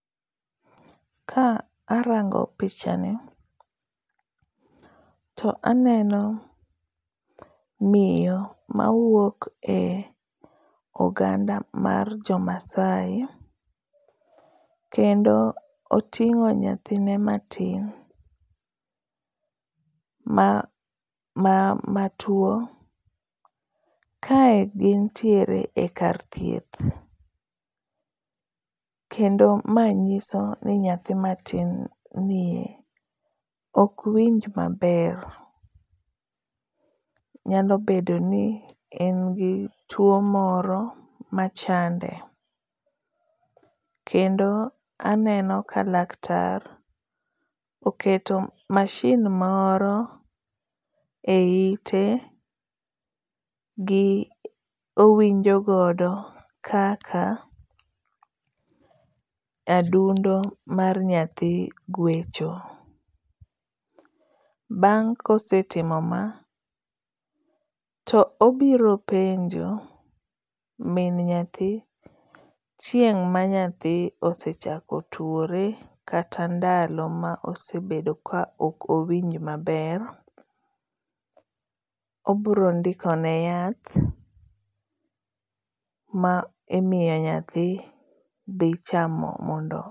Ka rango pichani, to aneno miyo mawuok e oganda mar jo maasai kendo oting'o nyathine matin ma tuwo, kae gin tiere e kar thieth, kendo manyiso ni nyathi matinni e ok winj maber, nyalo bedo ni en gi tuwo moro machande, kendo aneno ka laktar oketo mashin moro e ite, owinjo godo kaka adundo mar nyathi gwecho. Bang' kosetimo ma, to obiro penjo min nyathi chieng' ma nyathi osechako tuwore kata ndalo ma osebedo ka ok owinj maber. Obiro ndikone yath ma imiyo nyathi dhi chamo mondo.